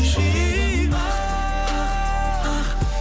жүрегім ақ ақ ақ